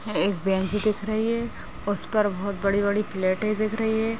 एक बेंच दिख रही है। उस पर बहोत बड़ी-बड़ी प्लेटे दिख रही हैं।